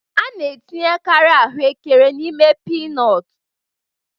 A na-etinyekarị ahụekere n'ime pinọtu